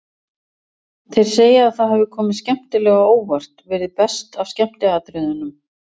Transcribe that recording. Þeir segja að það hafi komið skemmtilega á óvart, verið best af skemmtiatriðunum.